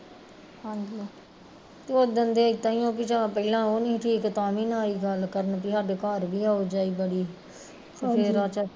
ਤੇ ਓਦਣ ਦੇ ਇੱਦਾਂ ਈ ਆ ਯਾ ਪਹਿਲਾਂ ਉਹ ਨੀ ਠੀਕ ਸੀ ਤਾਂ ਵੀ ਨੀ ਆਈ ਗੱਲ ਕਰਨ ਵੀ ਤੇ ਸਾਡੇ ਘਰ ਵੀ ਆਓ ਜਾਈ ਬੜੀ ਸੀ ਤੇ ਫੇਰ